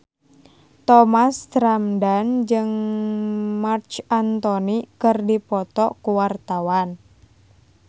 Thomas Ramdhan jeung Marc Anthony keur dipoto ku wartawan